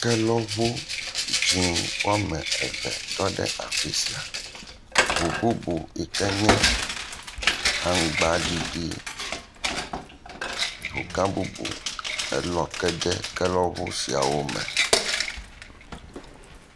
Kelɔŋu, dzɛ̃ɛ̃ woame eve tɔ ɖe afi sia, ŋu bubu yike nye aŋgbaɖiɖi, ŋu gã bubu elɔ ke de kelɔŋu siawo me.